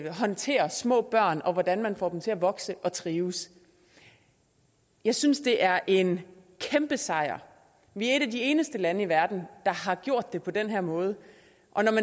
håndterer små børn og hvordan man får dem til at vokse og trives jeg synes det er en kæmpe sejr vi er et af de eneste lande i verden der har gjort det på den her måde og når